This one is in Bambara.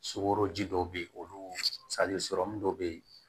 Sukoro ji dɔw bɛ yen olu sɔrɔmu dɔ bɛ yen